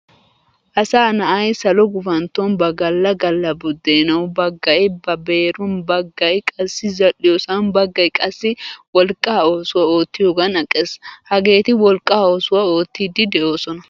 Asaa na'ay salo gufantton ba Galla Galla buddenawu baggay ba beeruwan, baggay qassi zal'iyosan baggay qassi wolqqa oosuwaa oottiyogan aqqees. Hagetti wolqqa oosuwaa oottidi deosona.